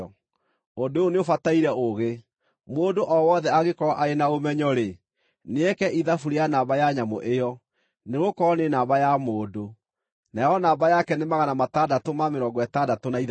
Ũndũ ũyũ nĩũbataire ũũgĩ. Mũndũ o wothe angĩkorwo arĩ na ũmenyo-rĩ, nĩeke ithabu rĩa namba ya nyamũ ĩyo, nĩgũkorwo nĩ namba ya mũndũ. Nayo namba yake nĩ 666.